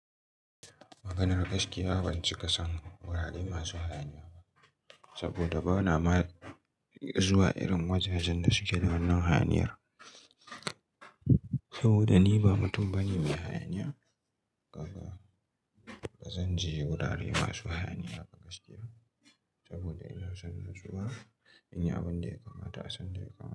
Maganar gaskiya, ban cika son wurare masu hayaniya. Saboda bana ma zuwa irin wajajen da suke na hayaniyar. Saboda ni ba mutum bane mai hayaniya, kaga bazan je wurare masu hayaniya ba gaskiya. Saboda ina son nutsuwa, in yi abin da ya kamata, asan da ya kama.